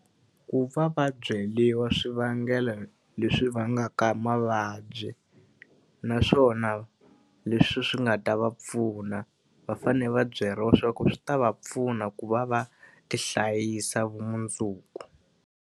Ku va va byeriwa swivangelo leswi vangaka mavabyi., naswona leswi swi nga ta va pfuna. Va fanele va byeriwa swa ku swi ta va pfuna ku va va ti hlayisa vumundzuku.